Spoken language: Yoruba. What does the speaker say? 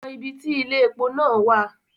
Ko mọ ibí tí ile-epo náà wa.